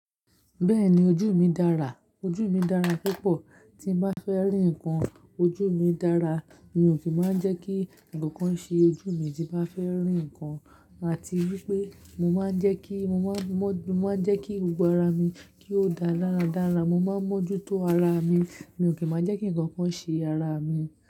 Bẹ́ẹ̀ni ojú mi dára, ojú mi dára púpọ̀. Tí n bá fẹ́ rí nǹkan, ojú mi dára. Mi ò kí máa ń jẹ́ kí ǹkan kan ṣe ojú mi tí bá fẹ́ rí ǹkan. Àti wípé mo máa ń jẹ́ kí, mo máa ń, mo máa ń jẹ́ kí gbogbo ara mi kí ó dá dára dára. Mo máa ń mójú tó ara mi. Mi ò kí máa jẹ́ kí ǹkan kan ṣe ara mi.